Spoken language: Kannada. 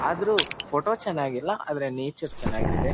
ಆದರೂ ಫೋಟೋ ಚೆನ್ನಾಗಿಲ್ಲ ಆದರೆ ನೇಚರ್ ಚೆನ್ನಾಗಿದೆ.